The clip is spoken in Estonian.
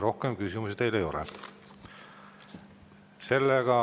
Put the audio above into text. Rohkem küsimusi teile ei ole.